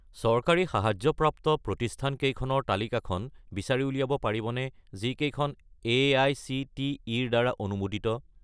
চৰকাৰী সাহায্যপ্ৰাপ্ত প্ৰতিষ্ঠানকেইখনৰ তালিকাখন বিচাৰি উলিয়াব পাৰিবনে যিকেইখন এআইচিটিই-ৰ দ্বাৰা অনুমোদিত?